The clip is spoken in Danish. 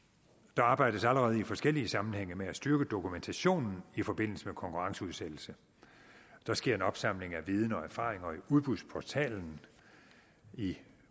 der arbejdes allerede i forskellige sammenhænge med at styrke dokumentationen i forbindelse med konkurrenceudsættelse der sker en opsamling af viden og erfaring i udbudsportalen i